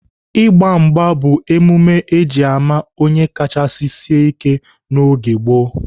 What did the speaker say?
Ịgba mgba bụ emume eji ama onye kachasị sịe ike n'oge gboo.